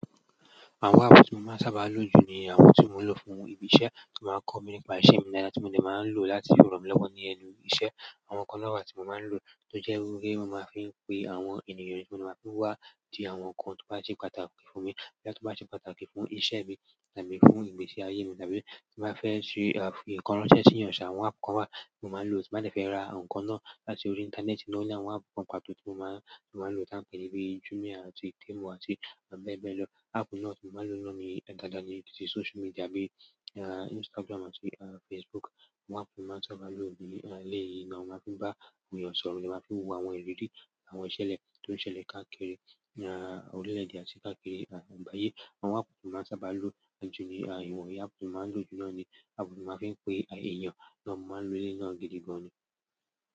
Àwọn app tí mo máa ń sábà lo jù ni àwọn tí mo ń lò fún ìbísẹ́ tí ó máa ń kọ́ mi nípa ìṣe mi daadà tí mo dẹ máa ń lò láti rọ̀ mí lọ́wọ́ ní ẹnu ìṣe. Àwọn kan náà wa tí mo máa ń lò tó jẹ́ wipé won máa ń fi pe àwọn ènìyàn tí máa ń fi wá bi àwọn nǹkan tó bá ṣe pàtàkì fún mi boya tí ó bá ṣe pàtàkì fún ìṣe mi tàbí fún ìgbésí ayé mi tàbí tí n bá fẹ́ fi nǹkan ránṣẹ́ sí èèyàn ṣà. Àwọn app kan wá tí mo máa ń lò tí mo ti bá fẹ́ ra nǹkan náà láti orí ìńtánẹ́ẹ̀tì náà o ní àwọn app kan pàtó tí mo máa ń lò tí a ń pè ní bíi Jumia àti Temu àti bẹ́ẹ̀ bẹ́ẹ̀ lọ. App náà ti mo maa n lo náà ni dandan ti social media bíi Instagram àti Facebook. Àwọn app tí mo máa ń sábà lò ní eleyìí ni mo máa ń fi bá àwọn èèyàn sọ̀rọ̀, ni mo máa ń fi wo àwọn ìrírí àwọn ìṣẹ̀lẹ̀ tó ń ṣẹlẹ̀ káàkiri orile èdè àti káàkiri agbàyẹ. Àwọn app tí mo máa ń sábà lò jù ní iwonyii app tí mo máa ń lò jù náà ni app tí mo máa ń fi pe èèyàn mo máa ń lò eleyii náà gidi gan.